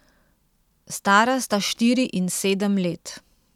Stara sta štiri in sedem let.